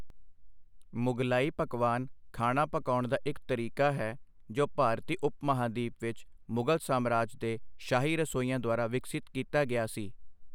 ਮੁਗ਼ਲਾਈ ਪਕਵਾਨ ਖਾਣਾ ਪਕਾਉਣ ਦਾ ਇੱਕ ਤਰੀਕਾ ਹੈ ਜੋ ਭਾਰਤੀ ਉਪ ਮਹਾਂਦੀਪ ਵਿੱਚ ਮੁਗ਼ਲ ਸਾਮਰਾਜ ਦੇ ਸ਼ਾਹੀ ਰਸੋਈਆਂ ਦੁਆਰਾ ਵਿਕਸਤ ਕੀਤਾ ਗਿਆ ਸੀ।